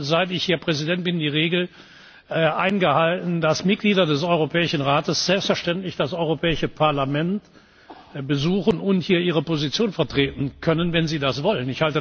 Ich habe, seit ich hier Präsident bin, die Regel eingehalten, dass Mitglieder des Europäischen Rates selbstverständlich das Europäische Parlament besuchen und hier ihre Position vertreten können, wenn sie das wollen.